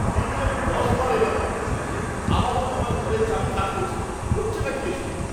এই নিয়ে আমি দশবার এলাম আপনাদের কাছে। আবারও আমার ঘরের চাবি কাজ করছে না। হচ্ছেটা কি এসব?